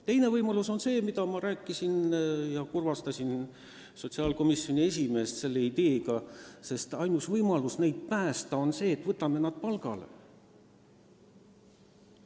Teine võimalus on see, mida tutvustades ma kurvastasin sotsiaalkomisjoni esimeest, sest ma rääkisin, et saame neid poode päästa ka sellega, et võtame teatud inimesed palgale.